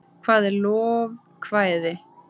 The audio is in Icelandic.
hvað er lovekvæði